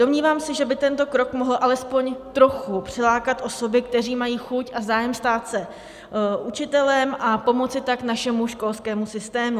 Domnívám se, že by tento krok mohl alespoň trochu přilákat osoby, které mají chuť a zájem stát se učitelem, a pomoci tak našemu školskému systému.